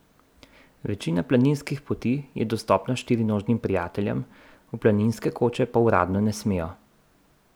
Večina planinskih poti je dostopna štirinožnim prijateljem, v planinske koče pa uradno ne smejo.